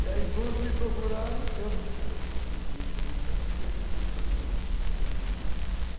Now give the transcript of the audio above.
E aí, quando me procuraram, eu não tinha condições, porque perdi tudo praticamente o que tinha.